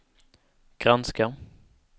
granska